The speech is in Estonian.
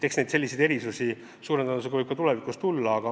Eks neid suure tõenäosusega võib ka tulevikus tulla.